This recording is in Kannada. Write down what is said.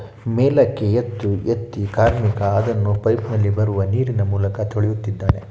ಮೇಲಕ್ಕೆ ಎದ್ದು ಎತ್ತಿ ಕಾರ್ಮಿಕ ಅದನ್ನು ಪೈಪ್‌ ನಲ್ಲಿ ಬರುವ ನೀರಿನ ಮೂಲಕ ತೊಳೆಯುತ್ತಿದ್ದಾನೆ.